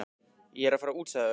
Ég er að fara út sagði Örn.